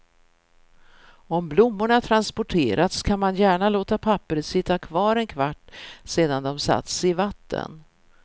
Om blommorna transporterats kan man gärna låta pappret sitta kvar en kvart sedan de satts i vatten.